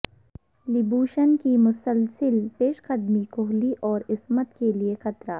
Labuschagne کی مسلسل پیشقدمی کوہلی اور اسمتھ کیلئے خطرہ